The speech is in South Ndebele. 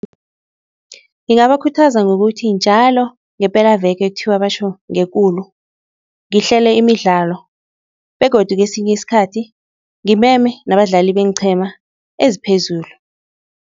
Ngingabakhuthaza ngokuthi njalo ngepelaveke ekuthiwa batjho ngekulu, ngihlele imidlalo begodu kesinye isikhathi ngimeme nabadlali beenqhema eziphezulu.